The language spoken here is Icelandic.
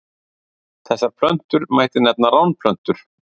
Þessar plöntur mætti nefna ránplöntur.